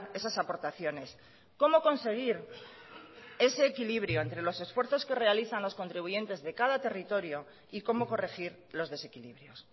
esas aportaciones cómo conseguir ese equilibrio entre los esfuerzos que realizan los contribuyentes de cada territorio y cómo corregir los desequilibrios